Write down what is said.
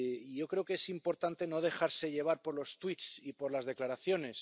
Yo creo que es importante no dejarse llevar por los tuits y por las declaraciones.